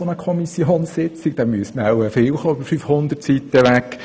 Das bräuchte viel Zeit, wenn man die 500 Seiten durcharbeiten würde.